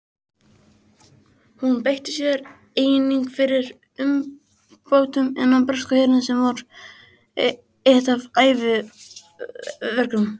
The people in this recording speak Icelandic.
Hún beitti sér einnig fyrir umbótum innan breska hersins sem var eitt af æviverkefnum hennar.